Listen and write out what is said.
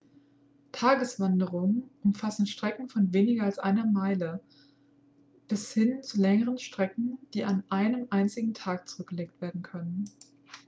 tageswanderungen umfassen strecken von weniger als einer meile bis hin zu längeren strecken die an einem einzigen tag zurückgelegt werden können